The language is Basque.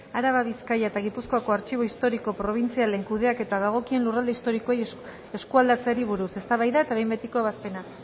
araba bizkai eta gipuzkoako artxibo historiko probintzialen kudeaketa dagokien lurralde historikoei eskualdatzeari buruz eztabaida eta behin betiko ebazpena